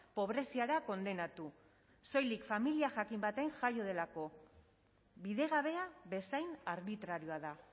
pobreziara kondenatu soilik familia jakin batean jaio delako bidegabea bezain arbitrarioa da